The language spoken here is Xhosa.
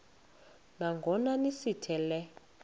nangona sithi le